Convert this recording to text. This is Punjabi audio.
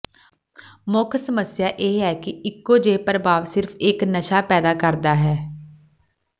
ਮੁੱਖ ਸਮੱਸਿਆ ਇਹ ਹੈ ਕਿ ਇਕੋ ਜਿਹੇ ਪ੍ਰਭਾਵ ਸਿਰਫ ਇੱਕ ਨਸ਼ਾ ਪੈਦਾ ਕਰਦਾ ਹੈ